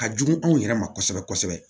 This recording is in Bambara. Ka jugu anw yɛrɛ ma kosɛbɛ kosɛbɛ